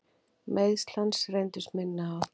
Meiðsl hans reyndust minni háttar.